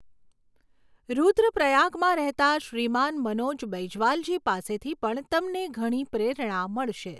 રુદ્રપ્રયાગમાં રહેતાં શ્રીમાન મનોજ બૈંજવાલજી પાસેથી પણ તમને ઘણી પ્રેરણા મળશે.